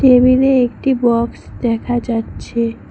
Table -এ একটি box দেখা যাচ্ছে।